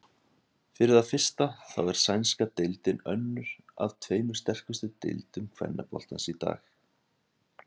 Fyrir það fyrsta þá er sænska deildin önnur af tveimur sterkustu deildum kvennaboltans í dag.